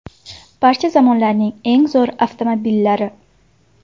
Barcha zamonlarning eng zo‘r avtomobillari .